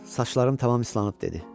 Saçlarım tamam islanıb, dedi.